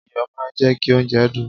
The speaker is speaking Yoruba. iyọ̀ máa ń jẹ́ kí oúnjẹ dùn